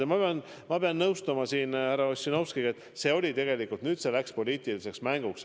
Ja ma pean nõustuma härra Ossinovskiga, et tegelikult on see kätte läinud poliitiliseks mänguks.